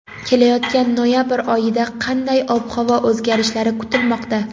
Kelayotgan noyabr oyida qanday ob-havo o‘zgarishlari kutilmoqda?.